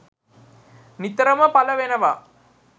නිතරම පල වෙනවා